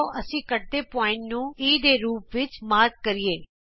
ਆਉ ਅਸੀਂ ਕੱਟਵੇਂ ਬਿੰਦੂ ਨੂੰ E ਦੇ ਰੂਪ ਵਿਚ ਚਿੰਨਿਤ ਕਰੀਏ